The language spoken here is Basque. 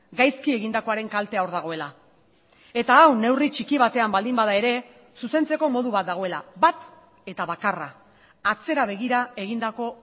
gaizki egindakoaren kaltea hor dagoela eta hau neurri txiki batean baldin bada ere zuzentzeko modu bat dagoela bat eta bakarra atzera begira egindako